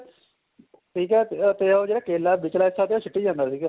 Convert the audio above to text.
ਠੀਕ ਏ ਤੇ ਉਹ ਜਿਹੜਾ ਕੇਲਾ ਵਿਚਲਾ ਹਿੱਸਾ ਸਿੱਟੀ ਜਾਂਦਾ ਸੀਗਾ